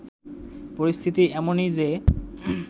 পরিস্থিতি এমনই যে